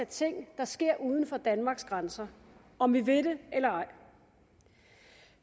ting der sker uden for danmarks grænser om vi vil det eller ej